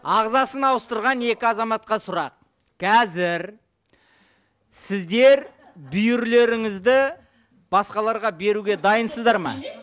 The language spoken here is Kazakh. ағзасын ауыстырған екі азаматқа сұрақ қазір сіздер бүйірлеріңізді басқаларға беруге дайынсыздар ма